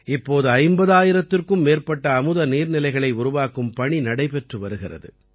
இப்போது 50000த்திற்கும் மேற்பட்ட அமுத நீர்நிலைகளை உருவாக்கும் பணி நடைபெற்று வருகிறது